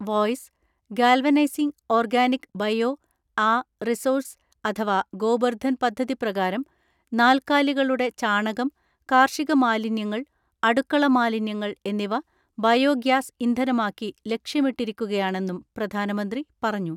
(Voice) galvanizing organic bio ആ resources അഥവാ ഗോബർദ്ധൻ പദ്ധതി പ്രകാരം നാൽക്കാലികളുടെ ചാണകം, കാർഷിക മാലിന്യങ്ങൾ, അടുക്കള മാലിന്യങ്ങൾ എന്നിവ ബയോഗ്യാസ് ഇന്ധനമാക്കി ലക്ഷ്യമിട്ടിരിക്കുകയാണെന്നും പ്രധാനമന്ത്രി പറഞ്ഞു.